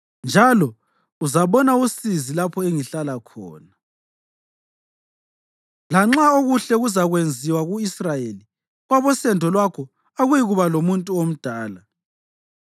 njalo uzabona usizi lapho engihlala khona. Lanxa okuhle kuzakwenziwa ku-Israyeli, kwabosendo lwakho akuyikuba lomuntu omdala.